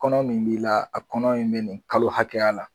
Kɔnɔ min b'i la a kɔnɔ in bi nin kalo hakɛya la